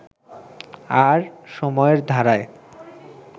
আর সময়ের ধারায়